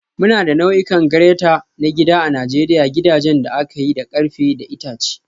Muna da nau'ikan grater na gida a Najeriya gidajen da aka yi da ƙarfe da itace.